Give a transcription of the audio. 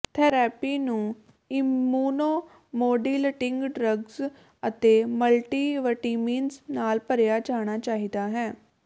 therapy ਨੂੰ immunomodulating drugs ਅਤੇ multivitamins ਨਾਲ ਭਰਿਆ ਜਾਣਾ ਚਾਹੀਦਾ ਹੈ